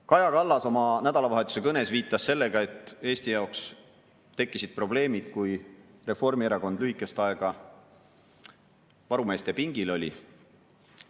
Kaja Kallas oma nädalavahetuse kõnes viitas sellele, et Eesti jaoks tekkisid probleemid siis, kui Reformierakond lühikest aega varumeeste pingil oli.